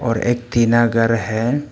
और एक टीना घर है।